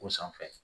O sanfɛ